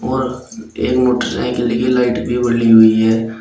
और एक मोटरसाइकिल की लाइट भी हुई है।